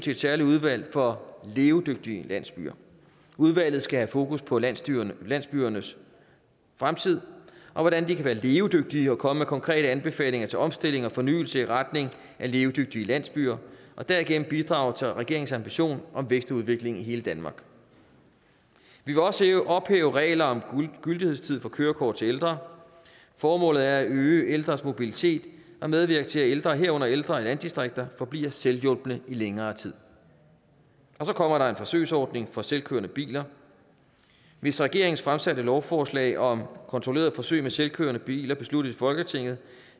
et særligt udvalg for levedygtige landsbyer udvalget skal have fokus på landsbyernes landsbyernes fremtid og hvordan de kan være levedygtige og komme med konkrete anbefalinger til omstilling og fornyelse i retning af levedygtige landsbyer og derigennem bidrage til regeringens ambition om vækst og udvikling i hele danmark vi vil også ophæve regler om gyldighedstid for kørekort til ældre formålet er at øge ældres mobilitet og medvirke til at ældre herunder ældre i landdistrikter forbliver selvhjulpne i længere tid og så kommer der en forsøgsordning for selvkørende biler hvis regeringens fremsatte lovforslag om kontrollerede forsøg med selvkørende biler besluttes i folketinget